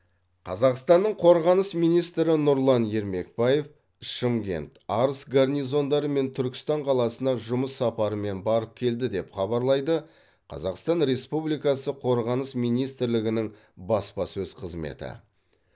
қазақстанның қорғаныс министрі нұрлан ермекбаев шымкент арыс гарнизондары мен түркістан қаласына жұмыс сапарымен барып келді деп хабарлайды қазақстан республикасы қорғаныс министрлігінің баспасөз қызметі